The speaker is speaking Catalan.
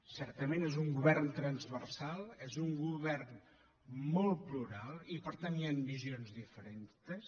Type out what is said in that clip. certament és un govern transversal és un govern molt plural i per tant hi han visions diferents